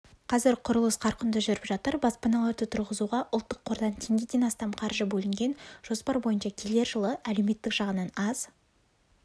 қазір құрылыс қарқынды жүріп жатыр баспаналарды тұрғызуға ұлттық қордан теңгеден астам қаржы бөлінген жоспар бойынша келер жылы әлеуметтік жағынан аз